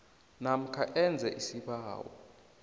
namkha enze isibawo